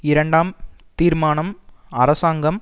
இரண்டாம் தீர்மானம் அரசாங்கம்